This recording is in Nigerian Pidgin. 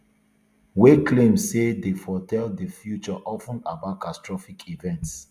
wey e claim say dey foretell di future of ten about catastrophic events